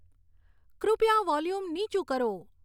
કૃપયા વોલ્યુમ નીચું કરો